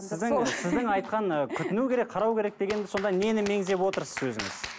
сіздің сіздің айтқан ы күтіну керек қарау керек дегенде сонда нені меңзеп отырсыз өзіңіз